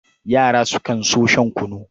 Yara sukan so shan kunu.